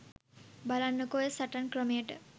බලන්නකෝ ඔය සටන් ක්‍රමයට